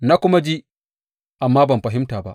Na kuma ji, amma ban fahimta ba.